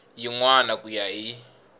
yin wana ku ya hi